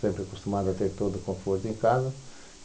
Sempre acostumado a ter todo o conforto em casa.